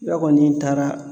I b'a kɔ ni n taara